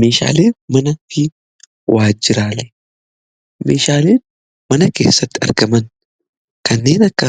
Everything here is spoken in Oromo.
Meeshaalee mana keessatti argaman kanneen akka